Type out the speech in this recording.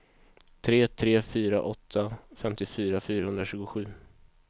tre tre fyra åtta femtiofyra fyrahundratjugosju